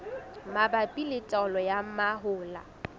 mabapi le taolo ya mahola